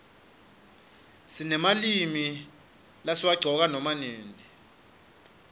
sinemalimi lesiwaqcoka nama nini